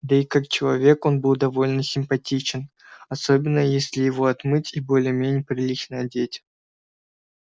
да и как человек он был довольно симпатичен особенно если его отмыть и более-менее прилично одеть